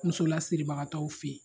Muso lasiribagatɔw fe ye